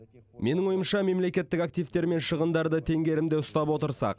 менің ойымша мемлекеттік активтер мен шығындарды теңгерімде ұстап отырсақ